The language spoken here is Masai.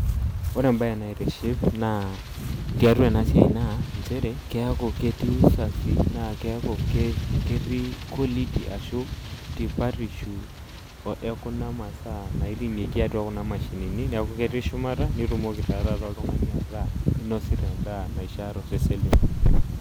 Oore embaye naitiship tiatua eena siai naa inchere, kiaku ketii usafi naa kiaku ketii quality arashu tipatishu ekuna masaa niaku ketii shumata nitumoki taa taata oltung'ani ataa inosita en'daa naishii tosesen.